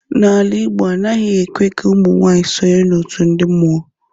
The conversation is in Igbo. Na ala igbo, anaghi ekwe ka ụmunwaanyi sọnye n'otụ ndi mmuọ.